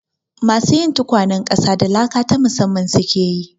Masu yin tukwanen ƙasa da laka ta musamman su ke yi.